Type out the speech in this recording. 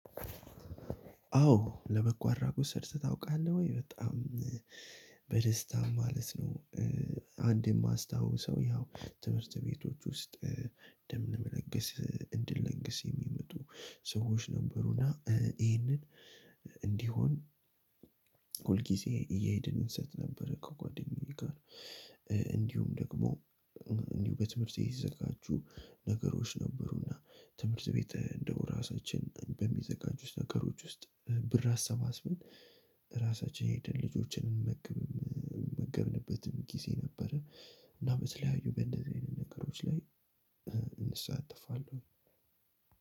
አዎ ለበጎ አድራጎት ሰርተህ ታውቃለህ ወይ በጣም በደስታ ማለት ነው። አንድ የማስታውሰው ያው ትምህርት ቤቶች ውስጥ ደም ለመነገስ እንድንለንግስ የሚመጡ ሰዎች ነበሩና ይሄንን እንዲሆን ሁል እየሄድን እንሰጥ ነበር። ከጓደኛዬ ጋር። እንዲሁም ደግሞ እንዲሁ በትምህርት የሚዘጋጁ ነገሮች ነበሩና ትምህርት ቤት እንደው ራሳችን በሚዘጋጁት ነገሮች ውስጥ ብር አሰባስብን። ራሳችን ሄድን ልጆችን እንመግብ የመገብንበትም ጊዜ ነበረ። እና በተለያዩ በእንደዚህ አይነት ነገሮች ላይ እሳተፋለው